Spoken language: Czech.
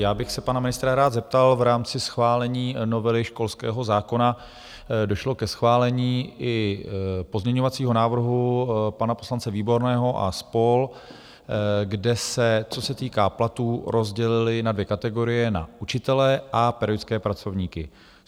Já bych se pana ministra rád zeptal: V rámci schválení novely školského zákona došlo ke schválení i pozměňovacího návrhu pana poslance Výborného a spol., kde se, co se týká platů, rozdělili na dvě kategorie, na učitele a pedagogické pracovníky.